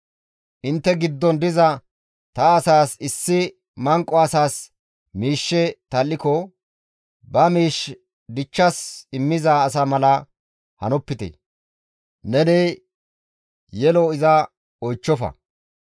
«Intte giddon diza ta asaas issi manqo asas miishshe tal7iko, ba miish dichchas immiza asa mala hanopite; neni yelo iza oychchofa.